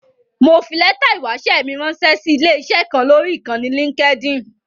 Mo fi lẹ́tà ìwáṣẹ́ mi ránṣẹ́ sí ilé-iṣẹ́ kan lọ́rí Ìkànnì Linkedin.